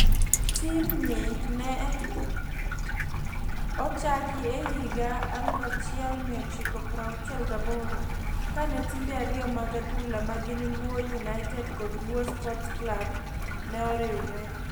Tim ni e ochaki e higa 1968 kane timbe ariyo mag adhula ma gin Luo United kod Luo sports club ne oriwre